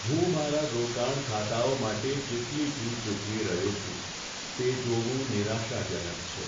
હું મારા રોકાણ ખાતાઓ માટે જેટલી ફી ચૂકવી રહ્યો છું, તે જોવું નિરાશાજનક છે.